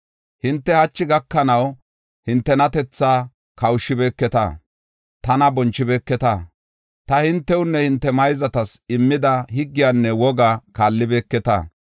Hinte hachi gakanaw hintenatethaa kawushibeketa; tana bonchibeeketa. Ta hintewunne hinte mayzatas immida higgiyanne woga kaallibeketa.